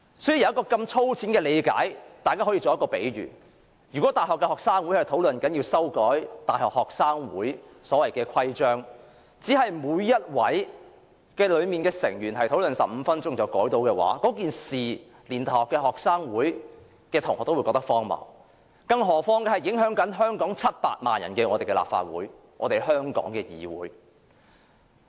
這道理是如此粗淺，讓我作一個比喻，如果大學學生會討論要修改其所謂的規章，只讓每名成員討論15分鐘便可修改，此事連大學生也會覺得荒謬，更何況這裏是影響700萬名香港人的立法會，是我們香港的議會。